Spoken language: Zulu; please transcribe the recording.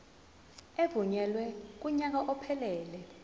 evunyelwe kunyaka ophelele